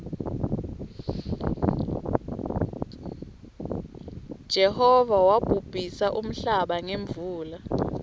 jehova wobhubhisa nmhlaba ngemuula